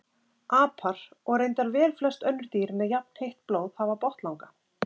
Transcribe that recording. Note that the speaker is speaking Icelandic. apar og reyndar velflest önnur dýr með jafnheitt blóð hafa botnlanga